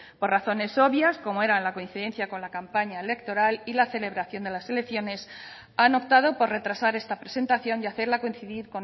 por razones obvias como era la coincidencia con la campaña electoral y la celebración de las elecciones han optado por retrasar esta presentación y hacerla coincidir